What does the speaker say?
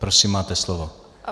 Prosím, máte slovo.